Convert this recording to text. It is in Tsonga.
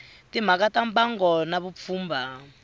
timhaka ta mbango na vupfhumba